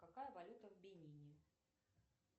какая валюта в бенине